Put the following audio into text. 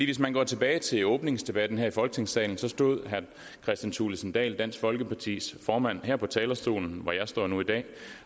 hvis man går tilbage til åbningsdebatten her i folketingssalen så stod herre kristian thulesen dahl dansk folkepartis formand her på talerstolen hvor jeg står nu i dag